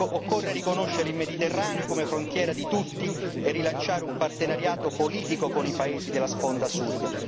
Occorre riconoscere il Mediterraneo come frontiera di tutti e rilanciare un partenariato politico con i paesi della sponda sud